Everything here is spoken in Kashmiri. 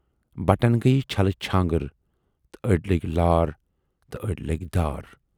بٹن گٔیہِ چھلہٕ چھانگٕر تہٕ ٲڈۍ لٔگۍ لار تہٕ ٲڈۍ لٔگۍ دار۔